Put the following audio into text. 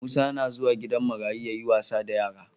Musa na zuwa gidan marayu yayi wasa da yara